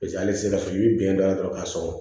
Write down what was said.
Paseke halisa i bi bɛn dɔ la dɔrɔn k'a sɔrɔ